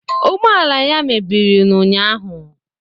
Ụgbọala ala ya mebiri na ụnyaahụ